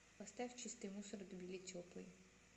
поставь чистый мусор тбили теплый